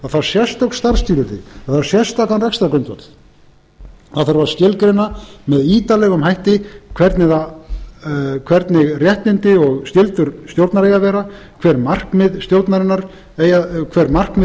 þarf sérstök starfsskilyrði það þarf sérstakan rekstrargrundvöll það þarf að skilgreina með ítarlegum hætti hvernig réttindi og skyldur stjórnar eiga að vera hver markmið félagsins eigi að vera